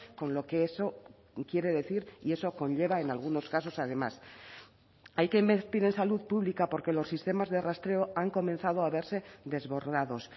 con lo que eso quiere decir y eso conlleva en algunos casos además hay que invertir en salud pública porque los sistemas de rastreo han comenzado a verse desbordados